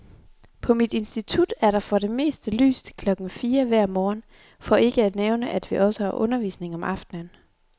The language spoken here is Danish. På mit institut er der for det meste lys til klokken fire hver morgen, for ikke at nævne, at vi også har undervisning om aftenen.